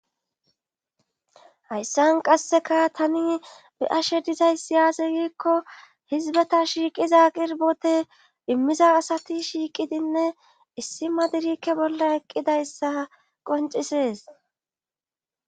Hayssan qasseka tani be ashe dizay si yaase giikko hizbata shiiqiza qirbote immiza asati shiiqidinne issi ma dirikke bolla eqqidayssa qoncisees